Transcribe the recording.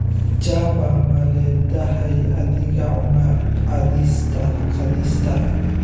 java maledhahay adhega cunna qadista